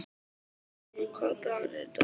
Hanna, hvaða dagur er í dag?